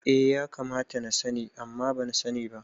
Eh ya kamata na sani amma ban sani ba